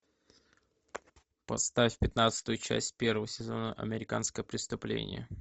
поставь пятнадцатую часть первого сезона американское преступление